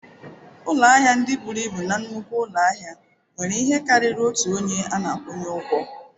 Ụlọ ahịa ndị buru ibu na nnukwu ụlọ ahịa nwere ihe karịrị otu onye a na-akwụnye ụgwọ.